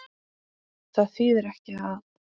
Það þýðir ekki að.